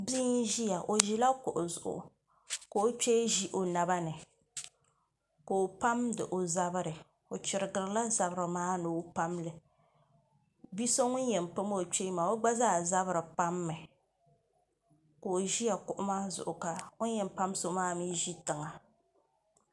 Bia n ʒiya o ʒila kuɣu zuɣu ka o kpee ʒi o naba ni ka o pamdi o zabiri o chirigirila zabiri maa ni o pamli bia so ŋun yɛn pam o kpee maa o gba zaa zabiri pammi ka o ʒi kuɣu maa zuɣu ka o ni yɛn pa so maa mii ʒi tiŋa